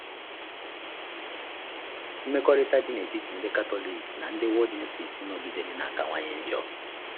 Mmekọrịta dị n’etiti ndị Katọlik na ndị Waldenses nọgidere na-akawanye njọ.